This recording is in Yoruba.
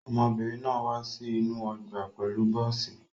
Ọmọbìnrin náà wá sí inú ọgbà pẹ̀lú bọ́ọ́sì.